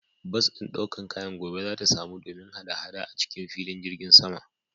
Bas ɗin ɗaukan kayan gobe zata samu domin hada-hada acikin filin jirgin saman.